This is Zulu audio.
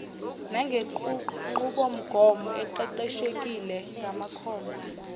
nangenqubomgomo eqeqeshekile yamakhono